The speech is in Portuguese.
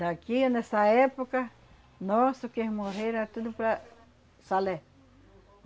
Daqui, nessa época, nosso quem morrer era tudo para Salé.